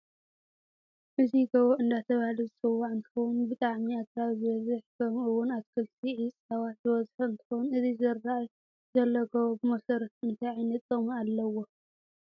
እዚ ጎቦ እደተበሃለ ዝፅዋዕ እንትከውን ብጣዓሚኣገራብ ዝበዝ ከምኡ እውን ኣትክልቲ ዒፃዋት ዝበዝሖ እንትከውን እዚ ዝረኣይ ዘሎ ጎቦ ብመሰረቱ እንታ ዓይነት ጥቀሚ ኣለዎ?